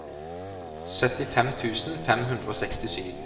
syttifem tusen fem hundre og sekstisju